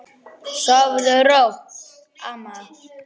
Sofðu rótt, amma.